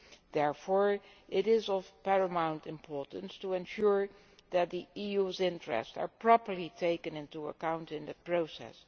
It is therefore of paramount importance to ensure that the EU's interests are properly taken into account in the process.